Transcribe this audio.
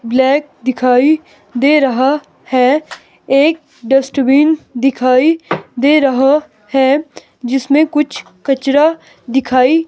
black दिखाई दे रहा है एक डस्टबिन दिखाई दे रहा है जिसमें कुछ कचरा दिखाई--